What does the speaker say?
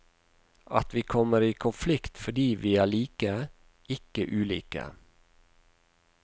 At vi kommer i konflikt fordi vi er like, ikke ulike.